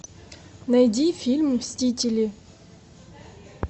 найди фильм мстители